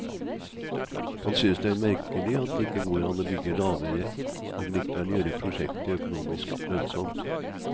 Han synes det er merkelig at det ikke går an å bygge lavere og likevel gjøre prosjektet økonomisk lønnsomt.